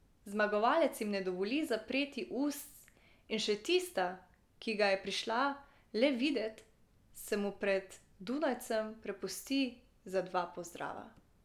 Zmagovalec jim ne dovoli zapreti ust in še tista, ki ga je prišla le videt, se mu pred dunajcem prepusti za dva pozdrava.